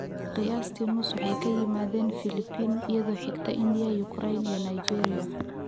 Qiyaastii nus waxay ka yimaadeen Filipiin, iyadoo xigta India, Ukraine, iyo Nigeria.